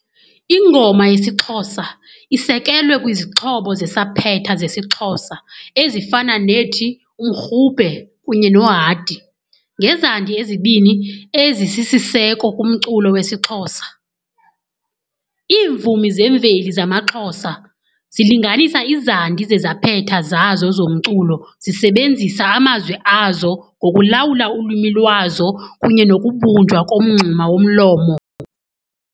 Ingoma yesiXhosa isekelwe kwizixhobo zesaphetha zesiXhosa ezifana nethi 'umrhube' kunye 'nohadi' ngezandi ezibini ezisisiseko kumculo wesiXhosa. Iimvumi zemveli zamaXhosa zilinganisa izandi zezaphetha zazo zomculo zisebenzisa amazwi azo ngokulawula ulwimi lwazo kunye nokubunjwa komngxuma womlomo.